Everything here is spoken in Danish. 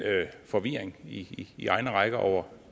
forvirring i i egne rækker over